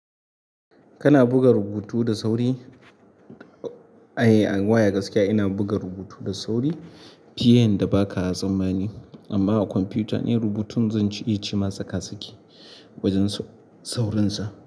Kana buga rubutu da sauri? A waya gaskiya ina buga rubutu da sauri fiye yanda baka tsammani. Amma a kwamfuta in rubutun zan ci ma tsakasaki wajen saurinsa.